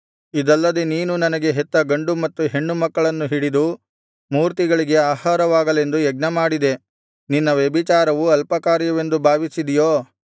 ಇದಲ್ಲದೆ ನೀನು ನನಗೆ ಹೆತ್ತ ಗಂಡು ಮತ್ತು ಹೆಣ್ಣು ಮಕ್ಕಳನ್ನು ಹಿಡಿದು ಮೂರ್ತಿಗಳಿಗೆ ಆಹಾರವಾಗಲೆಂದು ಯಜ್ಞಮಾಡಿದೆ ನಿನ್ನ ವ್ಯಭಿಚಾರವು ಅಲ್ಪಕಾರ್ಯವೆಂದು ಭಾವಿಸಿದಿಯೋ